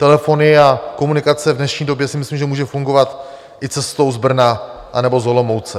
Telefony a komunikace v dnešní době si myslím, že může fungovat i cestou z Brna anebo z Olomouce.